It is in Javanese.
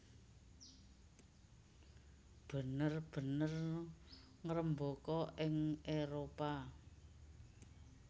bener bener ngrembaka ing Éropah